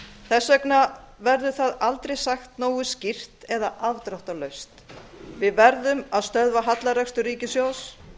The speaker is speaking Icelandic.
þess vegna verður það aldrei sagt nógu skýrt eða afdráttarlaust við verðum að stöðva hallarekstur ríkissjóðs